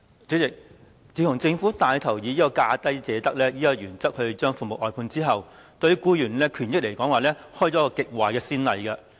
主席，自從政府帶頭以"價低者得"的原則將服務外判後，對僱員的權益開了一個極壞先例。